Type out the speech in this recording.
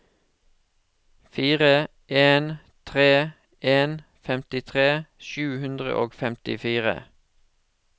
fire en tre en femtitre sju hundre og femtifire